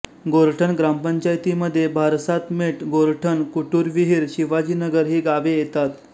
गोरठण ग्रामपंचायतीमध्ये भारसातमेट गोरठण कुटुरविहीर शिवाजीनगर ही गावे येतात